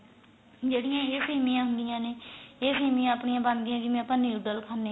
ਜਿਹੜੀਆਂ ਇਹ ਸੇਮੀਆਂ ਹੁੰਦੀਆਂ ਨੇ ਇਹ ਸੇਮੀਆਂ ਆਪਣੀਆਂ ਬਣਦੀਆਂ ਜਿਵੇਂ ਆਪਾਂ noodle ਖਾਣੇ ਆ